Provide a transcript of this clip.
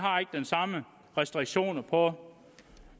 samme restriktioner på